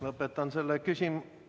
Lõpetan selle küsimuse ...